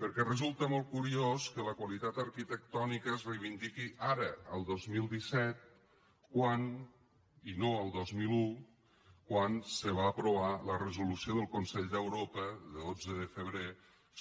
perquè resulta molt curiós que la qualitat arquitectònica es reivindiqui ara el dos mil disset i no el dos mil un quan se va aprovar la resolució del consell d’europa de dotze de febrer